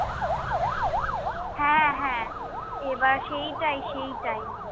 হ্যাঁ হ্যাঁ। এইবার সেইটাই সেইটাই।